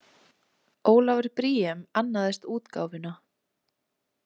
Ólafur Briem annaðist útgáfuna.